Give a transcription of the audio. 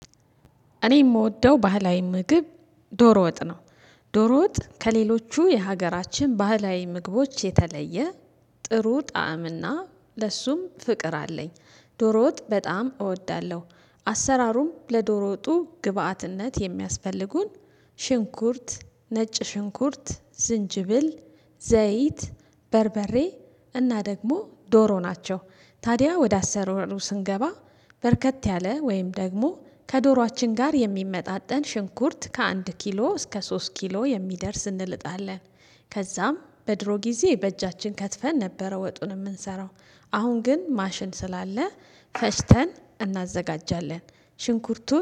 እኔ የምወደው ባህላዊ ምግብ ዶሮ ወጥ ነው። ዶሮ ወጥ ከሌሎቹ የሀገራችን ባህላዊ ምግቦች የተለየ ጥሩ ጣዕም እና ለሱም ፍቅር አለኝ። ዶሮ ወጥ በጣም እወዳለሁ። አሰራሩም ለዶሮ ወጡ ግብአትነት የሚያስፈልጉን ሽንኩርት፣ ነጭ ሽንኩርት፣ ዝንጅብል፣ ዘይት፣ በርበሬ እና ደግሞ ዶሮ ናቸው። ታዲያ ወደ አሰራሩ ስንገባ በርከት ያለ ወይም ደግሞ ከዶሮአችን ጋር የሚመጣጠን ሽንኩርት ከአንድ ኪሎ እስከ ሶስት ኪሎ የሚደርስ እንልጣለን። ከዛም በድሮ ጊዜ በእጃችን ከትፈን ነበረ ወጡን የምንሰራው። አሁን ግን ማሽን ስላለ ፈጭተን እናዘጋጃለን። ሽንኩርቱን